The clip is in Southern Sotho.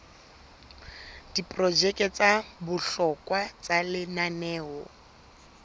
diprojeke tsa bohlokwa tsa lenaneo